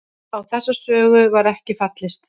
Á þessa sögu var ekki fallist